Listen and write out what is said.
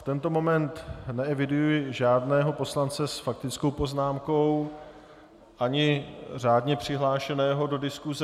V tento moment neeviduji žádného poslance s faktickou poznámkou ani řádně přihlášeného do diskuse.